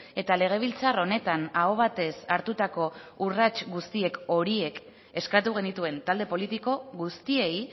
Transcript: eta legebiltzar honetan aho batez hartutako urrats guztiek horiek eskatu genituen talde politiko guztiei